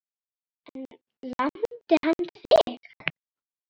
En lamdi hann þig?